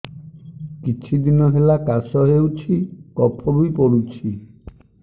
କିଛି ଦିନହେଲା କାଶ ହେଉଛି କଫ ବି ପଡୁଛି